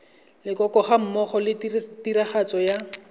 leloko gammogo le tiragatso ya